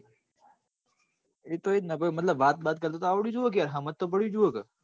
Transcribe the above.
એ તો એ જ ને વાત બાત કરતે તો આવડવું જ જોઈએ ને યાર સમત તો પડવી જ જોઈએ ક?